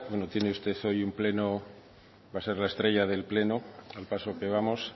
tiene hoy usted un pleno va a ser la estrella del pleno al paso que vamos